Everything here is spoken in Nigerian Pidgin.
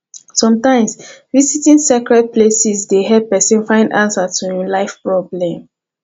sometimes visiting sacred places dey help person find answer to em life problem